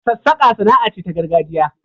Sassaka sana'a ce ta gargajiya.